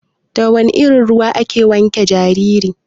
Da wana irin ruwa ake wanke jariri?